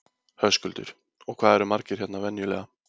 Höskuldur: Og hvað eru margir hérna venjulega?